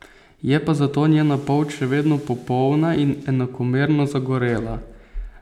Je pa zato njena polt še vedno popolna in enakomerno zagorela.